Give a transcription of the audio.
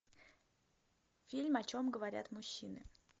фильм о чем говорят мужчины